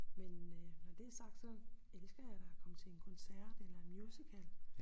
Men øh når det er sagt så elsker jeg da at komme til en koncert eller en musical